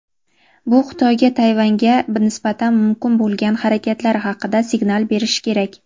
Bu Xitoyga Tayvanga nisbatan mumkin bo‘lgan harakatlari haqida signal berishi kerak.